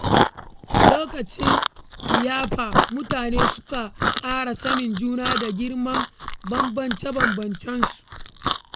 Lokacin liyafa, mutane sukan ƙara sanin juna da girmama bambance-bambancen su.